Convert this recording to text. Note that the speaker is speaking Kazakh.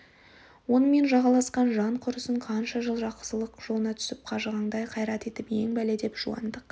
онымен жағаласқан жан құрысын қанша жыл жақсылық жолына түсіп қажығаңдай қайрат етіп ең бәле деп жуандық